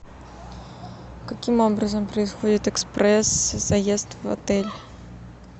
каким образом происходит экспресс заезд в отель